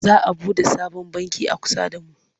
Za a buɗe sabon banki a kusa da mu.